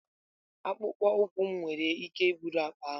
Akpụkpọ ụkwụ m nwere ike iburu akpa m.